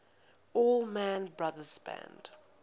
allman brothers band